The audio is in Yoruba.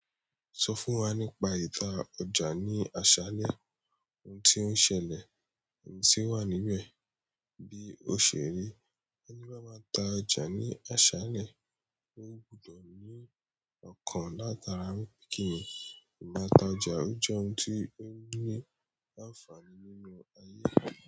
Sọ fún wa nípa ìta ọjà ní asalẹohun tí ń sẹleohun tí ó wà nibẹbi ó ṣe rí. Emi bá máa ta ọjà ní asalẹ ó gbudọ ní ọkan látara wípé kíni imata ọjà ó jẹ ohun tí ó ní àǹfààní nínú ayé.